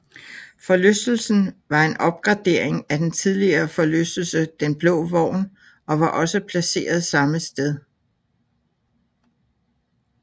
Forlystelsen var en opgradering af den tidligere forlystelse Den Blå Vogn og var også placeret samme sted